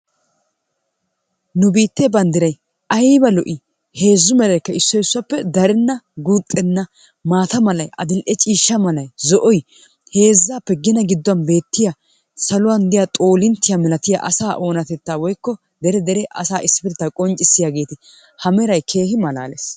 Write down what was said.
Nu biittee banddiray ayba lo'ii? Heezzu meraykka issoy issuwappe darenna guuxxenna. Maata malay, adil"e ciishsha malay, zo'oy heezzaappe gina gidduwan beettiya saluwan diya xoolinttiya milatiya asaa oonatettaa woykko dere dere asaa issippetettaa qonccissiyageeti ha meray keehi malaalees.